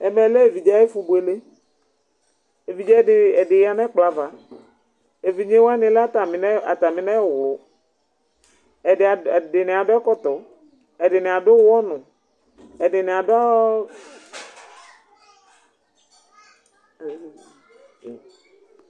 ɛmɛ lɛ ɛvidzɛ ɑyɛfubuɛlɛ ɛvidzidi ɛdiyɑnɛkpoɑvɑ ɛvidzɛ wɑnilɛ ɑtɑminɛwlu ɛdiniɑdu ɛkɔto ɛdiniɑdu ωwɔnu ɛdiniɑduooo